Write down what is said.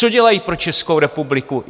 Co dělají pro Českou republiku?